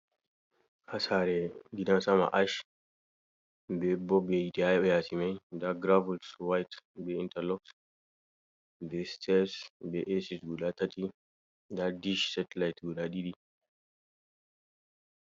Ha sare gida sama ach be bob yite ha yasi mai nda gravals wayit be intalox be sters be ec guda tati nda dich setelit wua ɗiɗi.